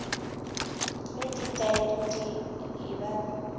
ge ditaere di e ba